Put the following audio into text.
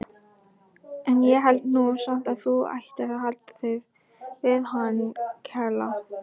En ég held nú samt að þú ættir að halda þig við hann Kela.